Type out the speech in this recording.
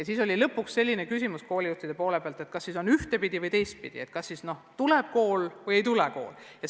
Lõpuks oli koolijuhtidel selline küsimus, et kas siis on ühte- või teistpidi – kas tuleb kool või ei tule?